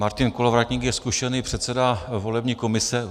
Martin Kolovratník je zkušený předseda volební komise.